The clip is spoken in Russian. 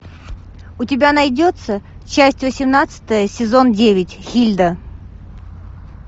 у тебя найдется часть восемнадцатая сезон девять хильда